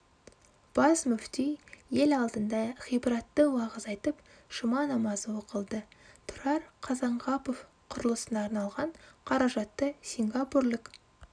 бас мүфти ел алдында ғибратты уағыз айтып жұма намазы оқылды тұрар қазанғапов құрылысына арналған қаражатты сингапурлық